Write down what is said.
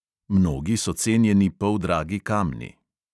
Mnogi so cenjeni poldragi kamni.